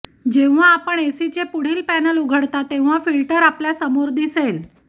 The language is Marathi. जेव्हा आपण एसीचे पुढील पॅनेल उघडता तेव्हा फिल्टर आपल्या समोर दिसेल